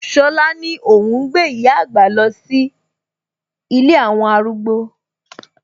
Ṣọlá ni óhún gbé ìyá àgbà lọ sí ilé àwọn arúgbó